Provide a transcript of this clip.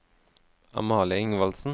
Amalie Ingvaldsen